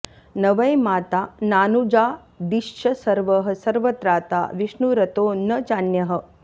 न वै माता नानुजादिश्च सर्वः सर्वत्राता विष्णुरतो न चान्यः